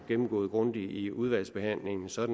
gennemgå dem grundigt i udvalgsbehandlingen så